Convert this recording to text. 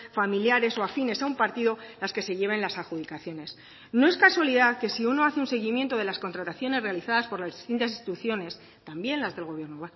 familiares o afines a un partido las que se lleven las adjudicaciones no es casualidad que si uno hace un seguimiento de las contrataciones realizadas por las distintas instituciones también las del gobierno